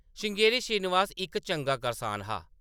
श्रृंगेरी श्रीनिवास इक चंगा करसान हा ।